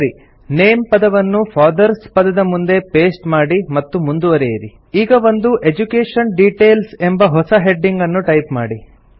ಸರಿ ನೇಮ್ ಪದವನ್ನು ಫಾದರ್ಸ್ ಪದದ ಮುಂದೆ ಪೇಸ್ಟ್ ಮಾಡಿ ಮತ್ತು ಮುಂದುವರೆಯಿರಿ ಈಗ ಒಂದು ಎಡ್ಯುಕೇಷನ್ ಡಿಟೇಲ್ಸ್ ಎಂಬ ಹೊಸ ಹೆಡಿಂಗ್ ಅನ್ನು ಟೈಪ್ ಮಾಡಿ